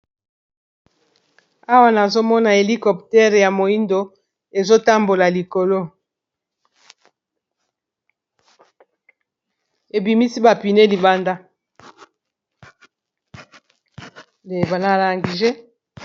Awa nazomona hélicoptère ya moyindo ezo tambola likolo ebimisi ba pneu libanda.